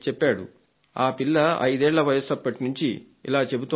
ఆ పిల్ల ఐదేళ్ల వయసు నుండి ఇలా చెబుతోందని